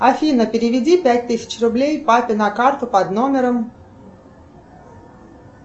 афина переведи пять тысяч рублей папе на карту под номером